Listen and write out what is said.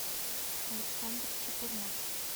александр чепурнов